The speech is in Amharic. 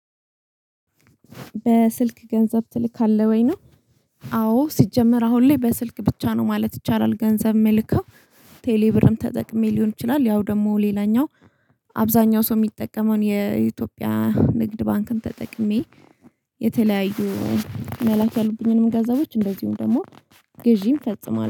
በስልክ ገንዘብ ትልካለህ ወይ ነው? አዎ ሲጀመር አሁን ላይ በስልክ ብቻ ነው ማለት ይቻላል ገንዘብ መልከው ቴሌብርም ተጠቅሜ ሊሆን ይችላል። ያው ደግሞ ሌላኛው አብዛኛው ሰው የሚጠቀመውን የኢትዮጵያ ንግድ ባንክን ተጠቅሜ። የተለያዩ መላክ ያሉብኝንም ገንዘቦች እንደዚሁም ደግሞ ግዢም ፈጽማለሁ